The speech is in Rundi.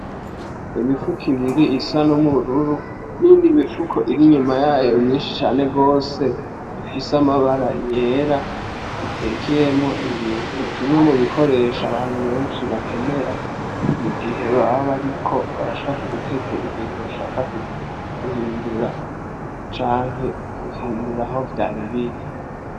Imifuko ibiri isa nubururu niyindi iri inyuma yayo myinshi cane gose ifise amabara yera itekeyemwo ibintu kimwe mubikoresho abantu benshi bakenera mu gihe baba bariko bashaka gutekera ibintu bashaka guhindura canke gutereka aho vyaribiri.